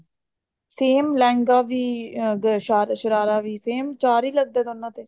same lehenga ਵੀ ਅਮ ਅਮ ਸ਼ਰਾਰਾ ਵੀ same ਚਾਰ ਹੀ ਲੱਗਦਾ ਦੋਨਾ ਤੇ